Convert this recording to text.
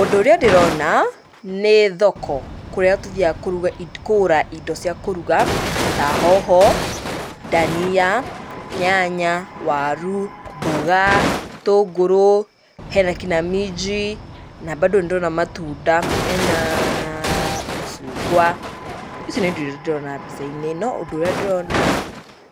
Ũndũ ũrĩa ndĩrona nĩ thoko, kũrĩa tũthiaga kũruga kũgũra indo cia kũruga ta hoho, ndania, nyanya, waru, mboga, itũngũrũ, hena kinya minji na bado nĩndĩrona matunda. Henaa macungwa. Ici nĩ indo iria ndĩrona mbica-inĩ ĩno. Ũndũ ũrĩa ndĩrona,